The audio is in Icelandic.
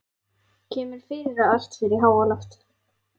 Kemur fyrir að allt fer í háaloft.